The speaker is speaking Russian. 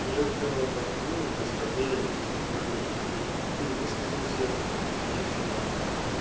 я сделал этот вывод исходя из твоей точки зрения ты высказался мне всё понятно